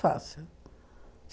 Fácil.